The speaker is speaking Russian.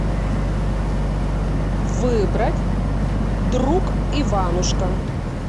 выбрать друг иванушка